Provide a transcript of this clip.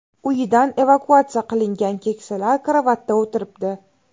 Uyidan evakuatsiya qilingan keksalar karavotda o‘tiribdi.